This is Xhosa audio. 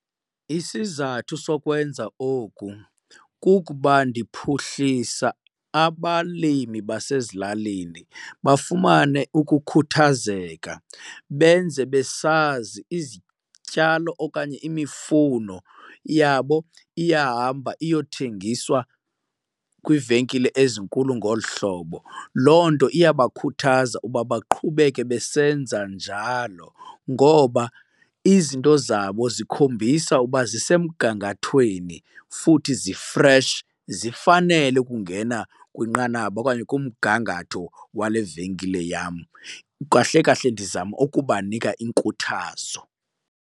Isizathu sokwenza oku kukuba ndiphuhlisa abalimi basezilalini bafumane ukukhuthazeka, benze besazi izityalo okanye imifuno yabo iyahamba iyothengiswa kwiivenkile ezinkulu ngolu hlobo. Loo nto iyabakhuthaza uba baqhubeke besenza njalo ngoba izinto zabo zikhombisa uba zisemgangathweni futhi zi-fresh zifanele ukungena kwinqanaba okanye kumgangatho wale venkile yam. Kahle kahle ndizame ukubanika iinkuthazo.